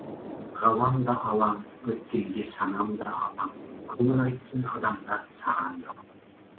ғалам да алаң өткенге санам да алаң көңіл айтсын адамзат саған далам